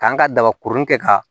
K'an ka daba kurun kɛ ka